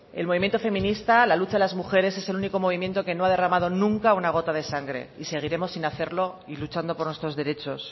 el movimiento feminista la lucha de las mujeres es el único movimiento que no ha derramado nunca una gota de sangre y seguiremos sin hacerlo y luchando por nuestros derechos